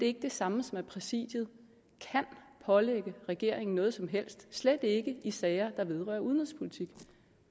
ikke det samme som at præsidiet kan pålægge regeringen noget som helst slet ikke i sager der vedrører udenrigspolitik